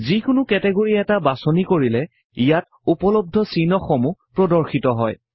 যিকোনো কেটেগৰি এটা বাচনি কৰিলে ইয়াত উপলবদ্ধ চিহ্ন সমূহ প্ৰদৰ্শিত কৰে